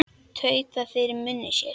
Tautaði fyrir munni sér.